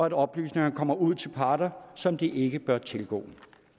at oplysningerne kommer ud til parter som de ikke bør tilgå